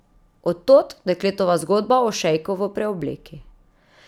Od tod dekletova zgodba o šejku v preobleki.